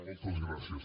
moltes gràcies